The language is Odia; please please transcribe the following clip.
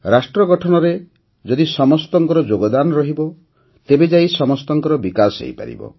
ରାଷ୍ଟ୍ର ଗଠନରେ ଯଦି ସମସ୍ତଙ୍କ ଯୋଗଦାନ ରହିବ ତେବେ ଯାଇ ସମସ୍ତଙ୍କ ବିକାଶ ହୋଇପାରିବ